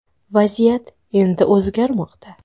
Vaziyat endi o‘zgarmoqda.